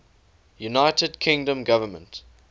united kingdom government